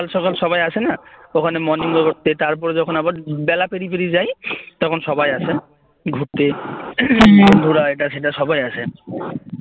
সকাল সকাল সবাই আসেনা ওখানে morning walk করতে তারপরে যখন আবার বেলা পেরিয়ে যায় তখন সবাই আসে ঘুরতে বন্ধুরা এটা সেটা সবাই আসে